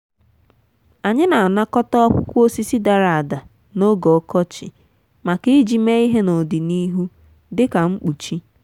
anyị n'anakọta akwụkwọ osisi dara ada n'oge ọkọchị maka iji mee ihe n'ọdịnihu dị ka mkpuchi.